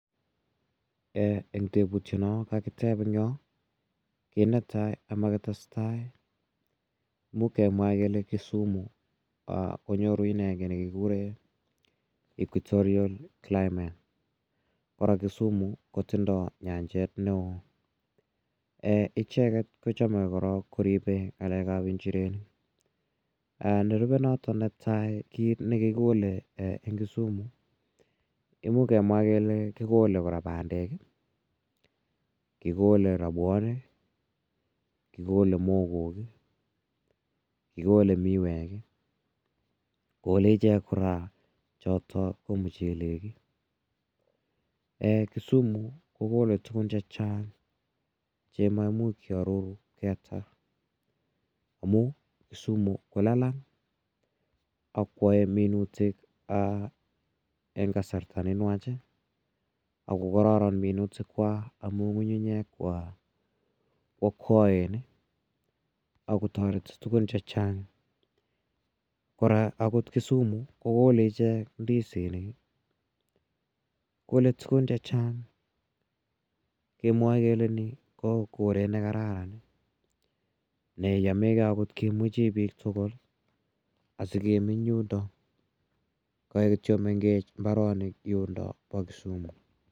Eng' teputiano kakitep en yo, kiit ne tai ama kitestai imuch kemwa kele Kisumu konyoru ki ne kikure equitorial climate, kora Kisumu kotindai nyanjet ne oo. Icheget korok ko chame koripe ng'alek ap injirenik. Nerupe notok netai kiit ne kikole en Kisumu, imuch kemwa kora kole kikole pandek i, kikole rapwaniik i, kikole mogeek i, kikole miweek i kole ichek kora chotok ko muchelek. Kisumu kokole tugun che chang' che maimuch kiaror yeta amun Kisumu ko lalang' ako yae minutik eng' kasarta ne nwach ako kararan minutikwak amun ng'ung'unyek ko akwaen ako tareti tugun che chang'. Kora akot Kisumu ko kole ichek ndisinik. Kole tugun che chang' kemwae kele ni ko koret ne kararan ne yame gei akot kimuchi piik tugul asikemeny tugul yundok. Kaek kityo mengechen mbaronik yundok pa Kisumu.